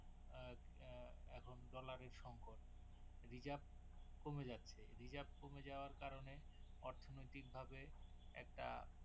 Dollar এর সংকট Reserve কমে যাচ্ছে Reserve কমে যাওয়ার কারনে অর্থনৈতিক ভাবে একটা